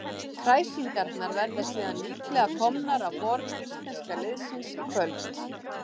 Kræsingarnar verða síðan líklega komnar á borð íslenska liðsins í kvöld.